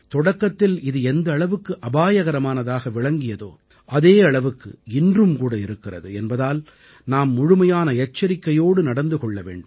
தொடக்கத்தில் இது எந்த அளவுக்கு அபாயகரமானதாக விளங்கியதோ அதே அளவுக்கு இன்றும்கூட இருக்கிறது என்பதால் நாம் முழுமையான எச்சரிக்கையோடு நடந்து கொள்ள வேண்டும்